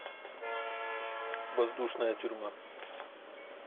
воздушная тюрьма